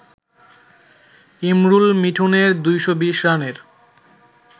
ইমরুল-মিঠুনের ২২০ রানের